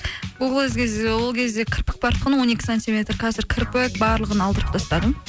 ол кезде кірпік бар тұғын он екі сантиметр қазір кірпік барлығын алдырып тастадым